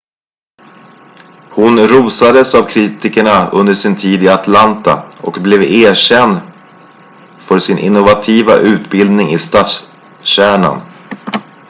hon rosades av kritikerna under sin tid i atlanta och blev erkänd för sin innovativa utbildning i stadskärnan